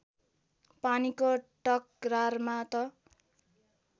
पानीको टकरारमा त